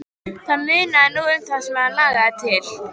Það munaði nú um það sem hann lagði til.